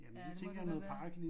Ja det må det nok være